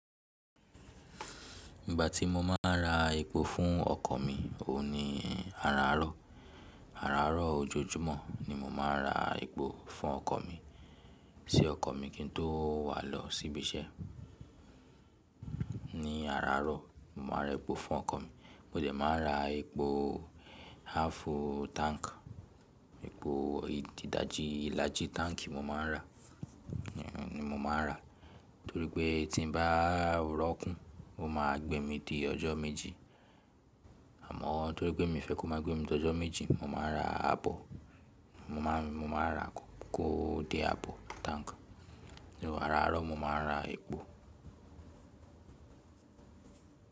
Ìgbà tí mo máa ń ra epo fún ọkọ̀ mi, òun ní àràárọ̀. Àràárọ̀ ojoojúmọ́ ni mo máa ń ra epo fún ọkọ̀ mi. Ṣé ọkọ̀ mi kí n tó wà lọ síbi iṣẹ́. Ní àràárọ̀, mo máa ń rọ epo fún ọkọ̀ mi. Mo dẹ̀ máa ń ra epo half tank, epo ìdájí ilájí tanki mo máa ń rà, ni mo máa n rà torí pé tí bá ò rọ́kún, ó máa gbé mi di ọjọ́ méjì. Àmọ́ torí pé mi fẹ́ kó máa gbé mi di ọjọ́ méjì, mo máa ra àbọ̀, mo máa ń ra kó dé àbọ̀ tank. Àràárọ̀ mo máa ń ra epo.